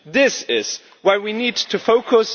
This is why we need to focus.